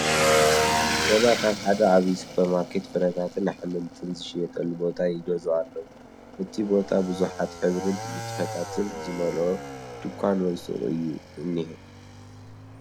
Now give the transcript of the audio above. ሰባት ኣብ ሓደ ዓቢይ ሱፐርማርኬት ፍረታትን ኣሕምልትን ዝሽየጠሉ ቦታ ይገዝኡ ኣለዉ። እቲ ቦታብዙሓት ሕብርን ንጥፈታትን ዝመልኦ ድንኳን ወይ ሱቕ እዩ ዝኒሀ።